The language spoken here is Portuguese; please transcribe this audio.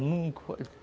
Nunca foi.